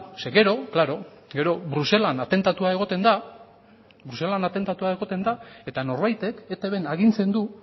gero klaro gero bruselan atentatua egoten da eta norbaitek eitbn agintzen du